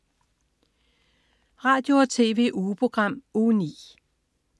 Radio- og TV-ugeprogram Uge 9